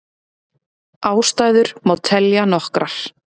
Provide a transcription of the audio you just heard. Ástæður má telja nokkrar.